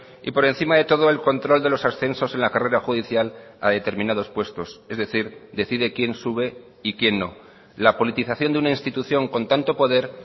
y por encima de todo el control de los ascensos en la carrera judicial a determinados puestos es decir decide quién sube y quién no la politización de una institución con tanto poder